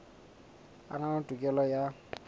a na le tokelo ya